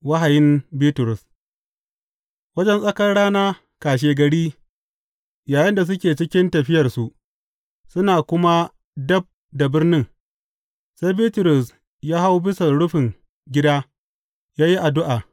Wahayin Bitrus Wajen tsakar rana kashegari yayinda suke cikin tafiyarsu suna kuma dab da birnin, sai Bitrus ya hau bisan rufin gida yă yi addu’a.